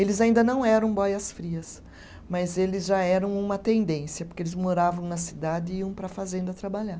Eles ainda não eram boias frias, mas eles já eram uma tendência, porque eles moravam na cidade e iam para a fazenda trabalhar.